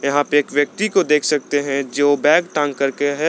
यहां पे एक व्यक्ति को देख सकते हैं जो बैग टांग करके है।